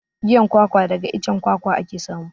Giyan kwakwa daga icen kwakwa ake samu.